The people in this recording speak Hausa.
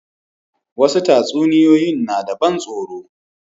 Wasu tatsuniyoyin na da ban tsaro.